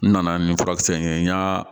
N nana ni furakisɛ in ye n y'a